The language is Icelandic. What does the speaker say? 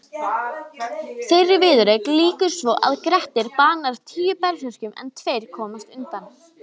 Þeirri viðureign lýkur svo að Grettir banar tíu berserkjum en tveir komast undan.